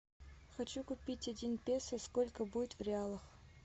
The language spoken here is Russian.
хочу купить один песо сколько будет в реалах